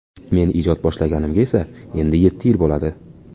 Men ijod boshlaganimga esa endi yetti yil bo‘ladi.